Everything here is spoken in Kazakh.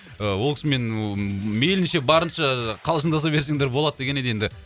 ол кісімен ыыы мейлінше барынша ы қалжыңдаса берсеңдер болады деген еді енді